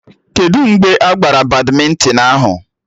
Kedụ mgbe a gbara badmịntịn ahụ?